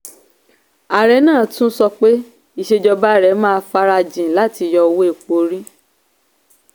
ààrẹ náà tún sọ pé ìsèjọba rẹ̀ máa farajìn láti yọ owó epo orí.